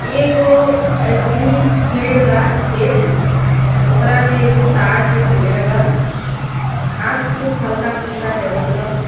एगो अइसहीं फील्ड बा खेत ओकरा में एगो ताड़ के पेड़ बा घास फूस हल्का फुल्का जमल बा।